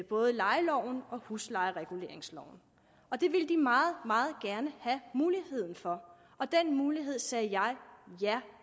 både lejeloven og huslejereguleringsloven det ville de meget meget gerne have mulighed for og den mulighed sagde jeg ja